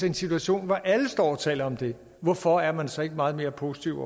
en situation hvor alle taler om det hvorfor er man så ikke meget mere positiv